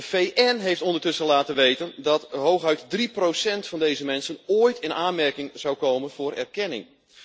De VN heeft ondertussen laten weten dat hooguit 3 van deze mensen ooit in aanmerking zou komen voor erkenning.